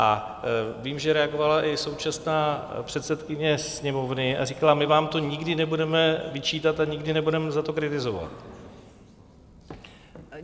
A vím, že reagovala i současná předsedkyně Sněmovny a říkala: my vám to nikdy nebudeme vyčítat a nikdy nebudeme za to kritizovat.